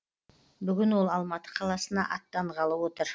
бүгін ол алматы қаласына аттанғалы отыр